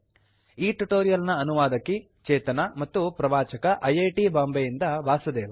ಈ ಟ್ಯುಟೋರಿಯಲ್ ನ ಅನುವಾದಕಿ ಚೇತನಾ ಮತ್ತು ಪ್ರವಾಚಕ ಐ ಐ ಟೀ ಬಾಂಬೆ ಇಂದ ವಾಸುದೇವ